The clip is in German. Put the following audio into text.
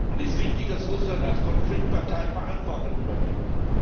Es ist wichtig, dass Russland als Konfliktpartei Verantwortung übernimmt.